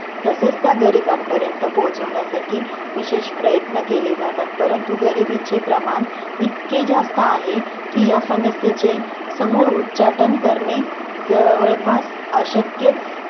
तसच त्या गरिबांपर्यंत पोहोचवण्यासाठी विशेष प्रयत्न केले जातात.परंतु गरिबीचे प्रमाण इतके जास्त आहे कि या समस्येचे समूळ उचाटन करणे जवळपास अशक्यच